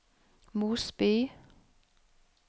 Mosby